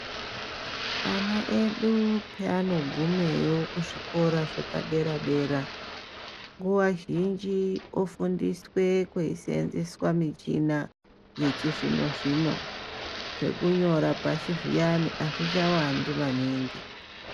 Ana edu paanogumeyo kuzvikora zvepadera dera nguva zhinji ofundiswe kweiseenzeswa muchina yechizvino zvino zvekunyora pashi zviyani hazvichawandi maningi.